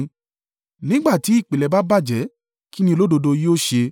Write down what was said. Nígbà tí ìpìlẹ̀ bá bàjẹ́ kí ni olódodo yóò ṣe?”